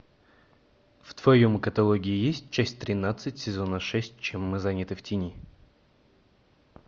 в твоем каталоге есть часть тринадцать сезона шесть чем мы заняты в тени